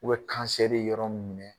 U bɛ kansɛri yɔrɔ mun minɛ